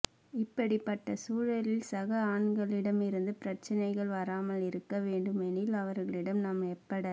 இப்படிப்பட்ட சூழலில் சக ஆண்களிடம் இருந்து பிரச்சினைகள் வராமல் இருக்கவேண்டுமெனில் அவர்களிடம் நாம் எப்பட